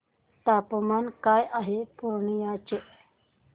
तापमान काय आहे पूर्णिया चे